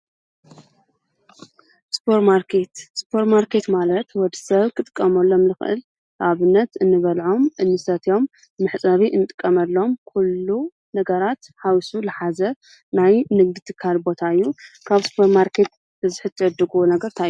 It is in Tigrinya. ሱፐርማርከት-ሱፐርማርኬት ማለት ወድ ሰብ ኽጥቀመሎም ልኽእል ኣብነት እንበልዖም፣ እንሰተትዮም፣ መሕፀቢ እንጥቀመሎም ኲሉ ነገራት ሓዊሱ ልሓዘ ናይ ንግዲ ትካል ቦታ እዩ፡፡ ካብ ሱፐርማርከት ብብዝሒ ትዕድግዎ ነገር እንታይ እዩ?